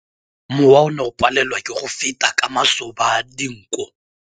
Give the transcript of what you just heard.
Mowa o ne o palelwa ke go feta ka masoba a dinko.